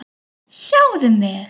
Sjáðu mig.